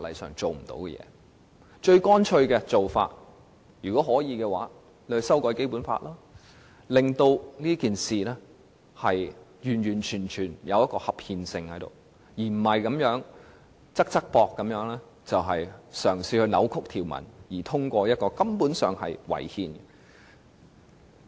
如果可以的話，最乾脆的做法就是修改《基本法》，令到整件事情符合合憲的要求，而不是"側側膊"嘗試扭曲條文以通過一項違憲的《條例草案》。